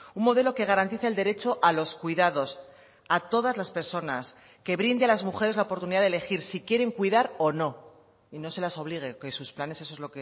un modelo que garantice el derecho a los cuidados a todas las personas que brinde a las mujeres la oportunidad de elegir si quieren cuidar o no y no se las obligue que sus planes eso es